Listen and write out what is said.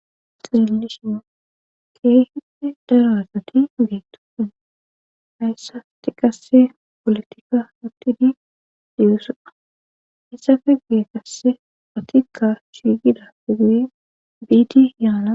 Xillishi keehinte daraazati geetofene hayssati qasse polotikka huttidi diyesoda hessa fe gu'e kasse otikka shigida fe guye biitiyaana.